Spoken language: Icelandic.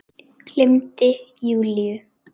Gleymdi Júlíu.